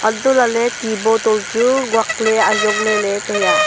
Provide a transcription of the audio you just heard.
anto lahle ti bottle chu nguak le ajong lele tai a.